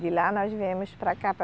De lá nós viemos para cá, para